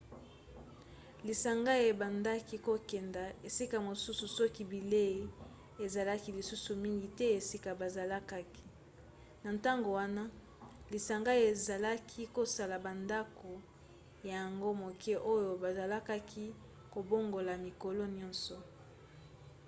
lisanga ebandaki kokende esika mosusu soki bilei ezalaki lisusu mingi te esika bazalaki. na ntango wana lisanga ezalaki kosala bandako ya ango moke oyo bazalaki kobongola mikolo nyonso